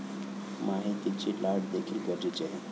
माहितीची लाट देखील गरजेची आहे.